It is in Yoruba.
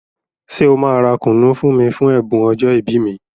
Ṣé ọ máa ra kùnú fún mí fún ẹ̀bùn ọjọ́ ìbí mi?